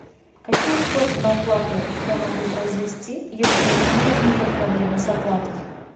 какие способы оплаты я могу произвести если у меня возникла проблема с оплатой